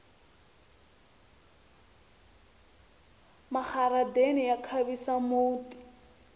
maharadeni ya khavisa muti